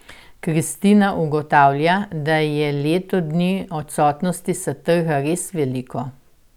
Kristina ugotavlja, da je leto dni odsotnosti s trga res veliko.